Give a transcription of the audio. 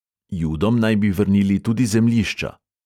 Judom naj bi vrnili tudi zemljišča.